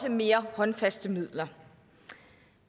af mere håndfaste midler